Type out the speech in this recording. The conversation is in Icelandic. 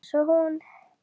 Eins og hún.